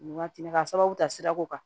Waati ka sababu ta sira ko kan